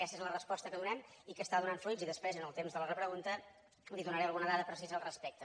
aquesta és la resposta que donem i que està donant fruits i després en el temps de la repregunta li donaré alguna dada precisa al respecte